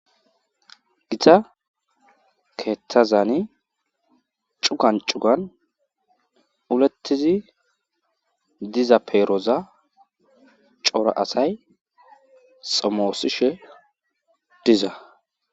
Gita kethazani cugan cugan uletidi diza peroza cora asay xomosishe diza